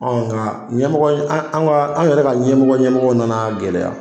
nga ɲɛmɔgɔ in an anw ka an yɛrɛ ka ɲɛmɔgɔ ɲɛmɔgɔ nan'a gɛlɛya